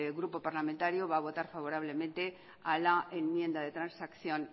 grupo parlamentario va a votar favorablemente a la enmienda de transacción